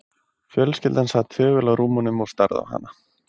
Fjölskyldan sat þögul á rúmunum og starði á hana.